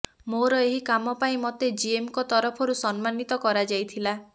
ମୋର ଏହି କାମ ପାଇଁ ମୋତେ ଜିଏମ୍ଙ୍କ ତରଫରୁ ସମ୍ମାନିତ କରାଯାଇଥିଲା